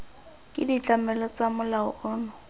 ke ditlamelo tsa molao ono